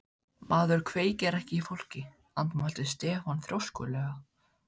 Maður kveikir ekki í fólki, andmælti Stefán þrjóskulega.